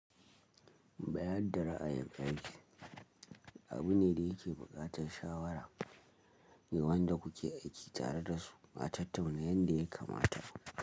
Bayar da ra'ayin aiki abu ne da yake buƙatar shawara ne wanda kuke aiki tare da su a tattuna yadda yake kamata.